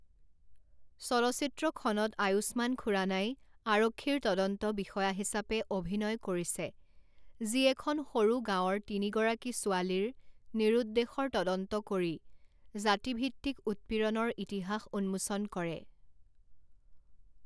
চলচ্চিত্ৰখনত আয়ুস্মান খুৰানাই আৰক্ষীৰ তদন্ত বিষয়া হিচাপে অভিনয় কৰিছে যি এখন সৰু গাঁৱৰ তিনিগৰাকী ছোৱালীৰ নিৰুদ্দেশৰ তদন্ত কৰি জাতিভিত্তিক উৎপীড়নৰ ইতিহাস উন্মোচন কৰে।